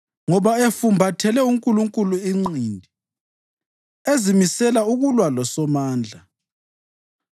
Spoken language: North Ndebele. ngoba efumbathele uNkulunkulu inqindi, ezimisela ukulwa loSomandla,